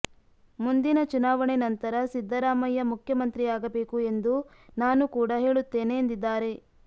ಮುಂದಿನ ಚುನಾವಣೆ ನಂತರ ಸಿದ್ದರಾಮಯ್ಯ ಮುಖ್ಯಮಂತ್ರಿಯಾಗಬೇಕು ಎಂದು ನಾನು ಕೂಡ ಹೇಳುತ್ತೇನೆ ಎಂದಿದ್ದಾರೆ